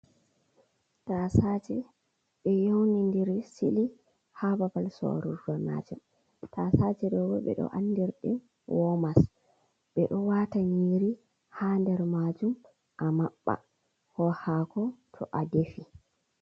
Tasaje ɓe yaunidiri sili ha babal sorurdo majum, tasaje ɗo ɓo ɓeɗo andirɗum womas, ɓeɗo wata nyiiri ha nder majum a maɓɓa ko hako to a defi.